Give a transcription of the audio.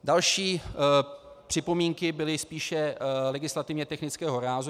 Další připomínky byly spíše legislativně technického rázu.